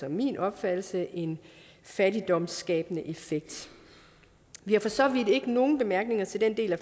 og min opfattelse en fattigdomsskabende effekt vi har for så vidt ikke nogen bemærkninger til den del af